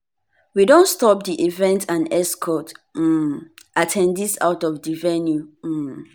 we don stop di event and escort um at ten dees out of di venue. um